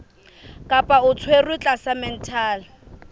kapa o tshwerwe tlasa mental